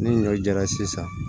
Ni ɲɔ jara sisan